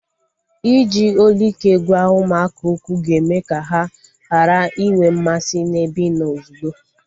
Iji olu ike gwa ụmụaka okwu ga-eme ka ha ghara inwe mmasị na-ebe ịnọ ozugbo